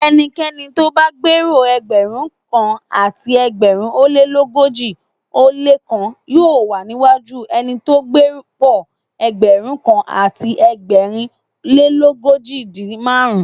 Ẹnikẹ́ni tóbá gbé'pò Ẹgbẹ̀rúnkan àti ẹgbẹ̀rin ólé l'ógójì ó lékan yóò wà níwájú ẹnitó gbé'pò ẹgbẹ̀rúnkan àti ẹgbẹ̀rin lélógójìdín márùn-ún.